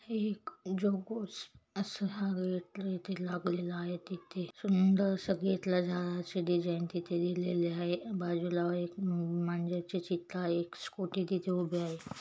एक इथे लागलेल आहे तिथे सुंदर अस गेटला झाडाचे डिझाईन तिथे दिलेले आहे बाजूला एक मा मांजरचे चित्र आहे स्कूटी तिथे उभी आहे.